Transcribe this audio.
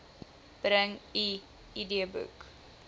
bring u idboek